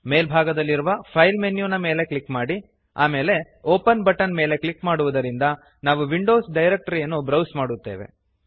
ಮೇಲ್ಭಾಗದಲ್ಲಿರುವ file menu ನ ಮೇಲೆ click ಮಾಡಿ ಆಮೇಲೆ ಒಪೆನ್ ಬಟನ್ ಮೇಲೆ ಕ್ಲಿಕ್ ಮಾಡುವುದರಿಂದ ನಾವು ವಿಂಡೋಸ್ ಡೈರೆಕ್ಟರಿಯನ್ನು ಬ್ರೌಸ್ ಮಾಡುತ್ತೇವೆ